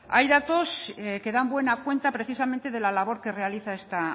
hay datos que dan buena cuenta precisamente de la labor que realiza esta